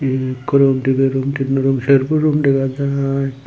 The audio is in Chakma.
ekko room dibe room tinno room serbo room dega jaai.